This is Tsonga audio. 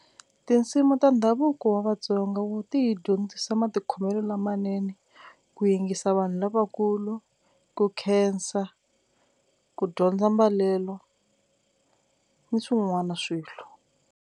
Tinsimu ta ndhavuko wa Vatsonga ti hi dyondzisa matikhomelo lamanene ku yingisa vanhu lavakulu ku khensa ku dyondza mbalelo ni swin'wana swilo.